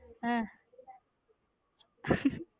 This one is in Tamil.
ஹம்